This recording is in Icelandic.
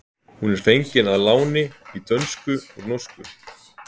hún er fengin að láni í dönsku úr norsku